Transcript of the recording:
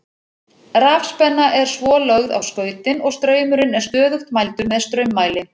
Rafspenna er svo lögð á skautin og straumurinn er stöðugt mældur með straummæli.